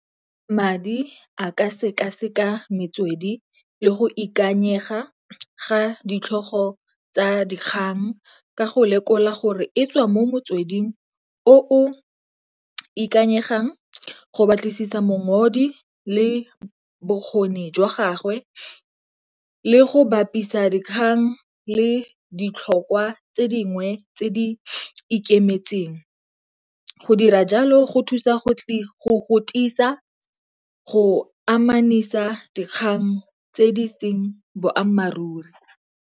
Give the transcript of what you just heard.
Madi a ka sekaseka metswedi le go ikanyega ga ditlhogo tsa dikgang ka go lekola gore e tswa mo motsweding o o ikanyegang, go batlisisa le bokgoni jwa gagwe le go bapisa dikgang le ditlhokwa tse dingwe tse di ikemetseng. Go dira jalo go thusa go godisa, go amanisa dikgang tse di seng boammaaruri.